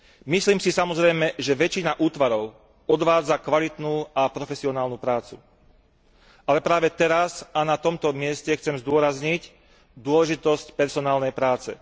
Myslím si, samozrejme, že väčšina útvarov odvádza kvalitnú a profesionálnu prácu, ale práve teraz a na tomto mieste chcem zdôrazniť dôležitosť personálnej práce.